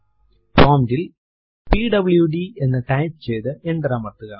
prompt ൽ PWD എന്ന് type ചെയ്തു എന്റർ അമർത്തുക